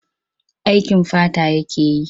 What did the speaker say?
Aikin fata yake yi.